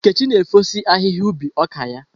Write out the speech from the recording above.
Nkechi na efosi ahihia ubi ọka ya.